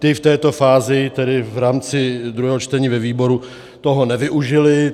Ti v této fázi tedy v rámci druhého čtení ve výboru toho nevyužili.